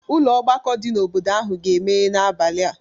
Ụlọ ọgbakọ dị n'obodo ahụ ga-emeghe n'abalị a.